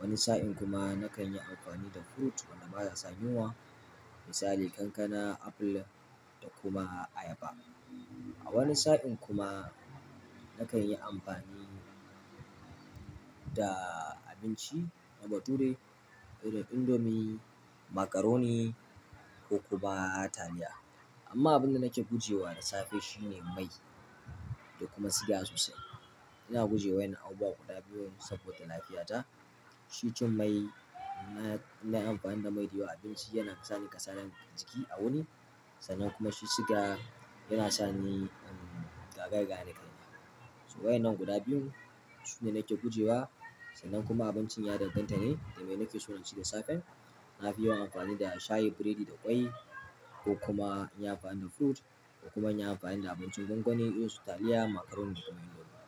Wani sa'in kuma nakan yi amfani da fruit wanda baya sa yunwa. Misali kankana, apple da kuma ayaba. A wani sa'in kuma nakan yi amfani da abinci na bature irin indomie, macaroni ko kuma taliya. Amma abin da nake gujewa da safe shine mai, da kuma siga sosai, ina guje wa'yannan abubuwa guda biyu saboda lafiyata. Shi cin mai na, na amfani da mai dayawa abinci yana kasani ƙasanin jiki a wuni. Sannan kuma shi siga yana sa ni, um, gaga-gane kai na. So waye nan guda biyun sune nake gujewa sannan kuma abincin ya danganta ne da me nake so na ci da safe. Na fi yawan amfani da shayi, biredi da ƙwai ko kuma inti amfani da fruit ko kuma inti amfani da abincin gwangwani irin su taliya, macaroni da kuma indomie.